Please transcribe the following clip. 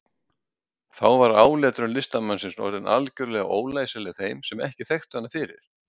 Þá var áletrun listamannsins orðin algjörlega ólæsileg þeim sem ekki þekktu hana fyrir.